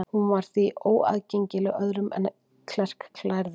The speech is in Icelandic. Hún var því óaðgengileg öðrum en klerklærðum.